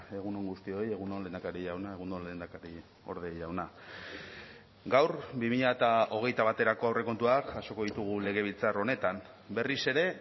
egun on guztioi egun on lehendakari jauna egun on lehendakariorde jauna gaur bi mila hogeita baterako aurrekontuak jasoko ditugu legebiltzar honetan berriz ere